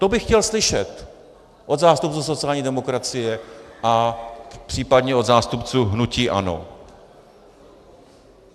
To bych chtěl slyšet od zástupců sociální demokracie a případně od zástupců hnutí ANO.